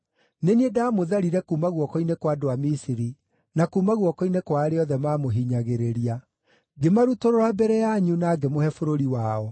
Nĩ niĩ ndaamũtharire kuuma guoko-inĩ kwa andũ a Misiri, na kuuma guoko-inĩ kwa arĩa othe maamũhinyagĩrĩria. Ngĩmarutũrũra mbere yanyu na ngĩmũhe bũrũri wao.